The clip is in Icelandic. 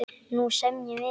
Nú semjum við!